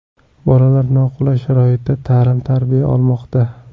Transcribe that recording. Bolalar noqulay sharoitda ta’lim-tarbiya olmoqda.